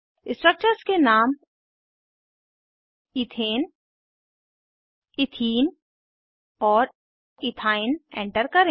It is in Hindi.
स्ट्रक्चर्स के नाम इथेन ईथीन और इथाइन एंटर करें